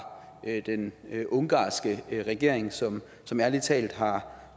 den ungarske regering som som ærlig talt har